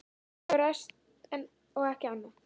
Sumt hefur ræst og annað ekki.